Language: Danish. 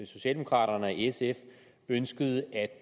socialdemokraterne og sf ønskede at